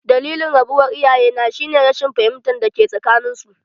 Dalilin rabuwar iyayena shi ne rashin fahimtar dake tsakanin su.